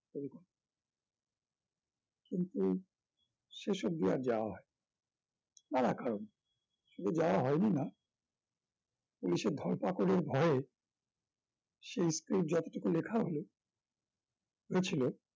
লুকিয়ে শেষ অব্দি আর যাওয়া হয় নি নানা কারণে শুধু যাওয়া হয় নি না পুলিশের ধর পাকড়ের ভয়ে সেই script যতটুকু লেখা হলো হয়েছিল